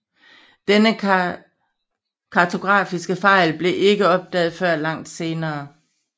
Denne kartografiske fejl blev ikke opdaget før langt senere